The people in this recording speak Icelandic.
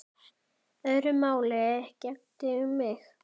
Öðru máli gegndi um mig.